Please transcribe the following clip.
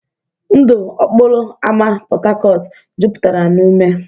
Ndụ okporo ámá Port Harcourt jupụtara na ume.